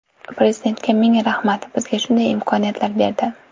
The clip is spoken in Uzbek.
Prezidentga ming rahmat, bizga shunday imkoniyatlar berdi.